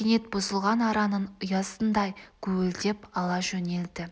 кенет бұзылған араның ұясындай гуілдеп ала жөнелді